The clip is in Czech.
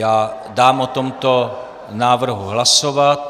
Já dám o tomto návrhu hlasovat.